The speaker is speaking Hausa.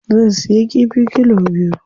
Zan siya kifi kilo biyu.